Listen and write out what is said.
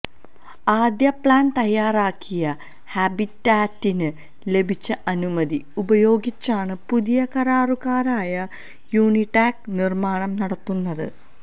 ആദ്യ പ്ലാന് തയാറാക്കിയ ഹാബിറ്റാറ്റിന് ലഭിച്ച അനുമതി ഉപയോഗിച്ചാണ് പുതിയ കരാറുകാരായ യൂണിടാക് നിര്മാണം നടത്തുന്നത്